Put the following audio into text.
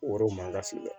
Wɔri ma ka feere